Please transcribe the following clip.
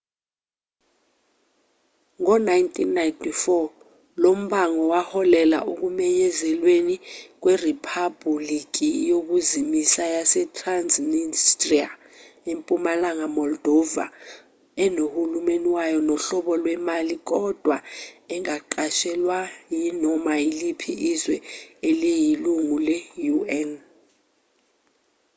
ngo-1994 lombango waholela ekumenyezelweni kweriphabhuliki yokuzimisa yasetransnistria empumalanga moldova enohulumeni wayo nohlobo lwemali kodwa engaqashelwa yinoma yiliphi izwe eliyilungu le-un